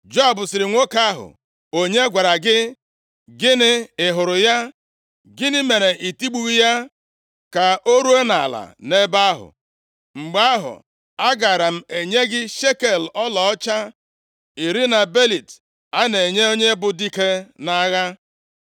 Joab sịrị nwoke ahụ onye gwara gị, “Gịnị, ị hụrụ ya? Gịnị mere i tigbughị ya ka o ruo nʼala nʼebe ahụ? Mgbe ahụ, agaara m enye gị shekel ọlaọcha iri, na belịt a na-enye onye bụ dike nʼagha.”